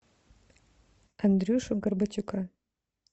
андрюшу горбатюка